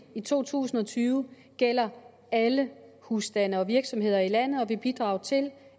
i to tusind og tyve gælder alle husstande og virksomheder i landet og vil bidrage til